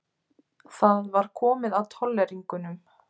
Það var komið að tolleringunum.